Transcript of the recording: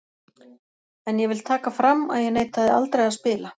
En ég vil taka fram að ég neitaði aldrei að spila.